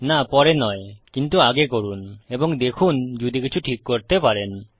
না পরে নয় কিন্তু আগে করুন এবং দেখুন যদি কিছু ঠিক করতে পারেন